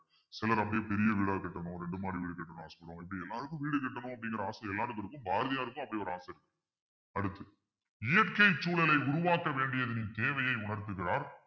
சிலர் அப்படியே பெரிய வீடா கட்டணும் இரண்டு மாடி வீடு கட்டணும்னு ஆசைப்படுவாங்க இப்படி எல்லாருக்கும் வீடு கட்டணும் அப்படிங்கிற ஆசை எல்லாருக்கும் இருக்கும் பாரதியாருக்கும் அப்படி ஒரு ஆசை அடுத்து இயற்கை சூழலை உருவாக்க வேண்டியதின் தேவையை உணர்த்துகிறார்